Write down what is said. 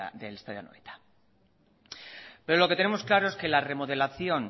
del estadio de anoeta pero lo que tenemos claro es que la remodelación